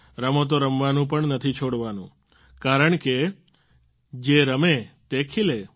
રમતો રમવાનું પણ નથી છોડવાનું નથી કારણ કે જે રમે તે ખીલે